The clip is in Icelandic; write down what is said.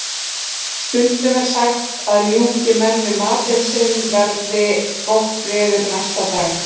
Stundum er sagt að ljúki menn við matinn sinn verði gott veður næsta dag.